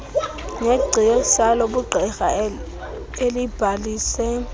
negcisa lobugqirha elibhalise